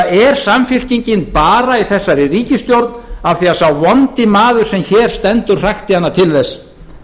eða er samfylkingin bara í þessari ríkisstjórn af því að sá vondi maður sem hér stendur hrakti hana til þess